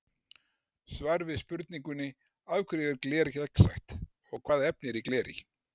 Svar við spurningunni Af hverju er gler gegnsætt og hvaða efni eru í gleri?